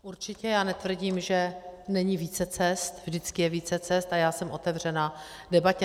Určitě, já netvrdím, že není více cest, vždycky je více cest a já jsem otevřená debatě.